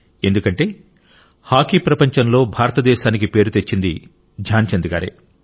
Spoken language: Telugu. ఎందుకంటే హాకీ ప్రపంచంలో భారత హాకీకి పేరు తెచ్చింది ధ్యాన్ చంద్ గారే